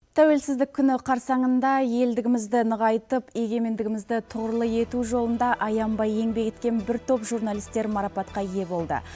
тәуелсіздік күні қарсаңында елдігімізді нығайтып егеменімізді торлы ету жолында аянбай еңбек еткен бір топ журналисттер марапатқа ие болды